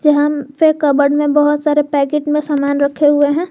Cupboard में बहोत सारे पैकेट में सामान रखे हुए हैं।